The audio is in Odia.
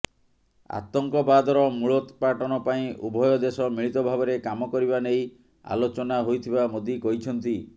ଆତଙ୍କବାଦର ମୂଳୋତ୍ପାଟନ ପାଇଁ ଉଭୟ ଦେଶ ମିଳିତ ଭାବରେ କାମ କରିବା ନେଇ ଆଲୋଚନା ହୋଇଥିବା ମୋଦି କହିଛନ୍ତି